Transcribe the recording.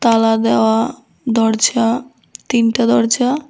তালা দেওয়া দরজা তিনটা দরজা।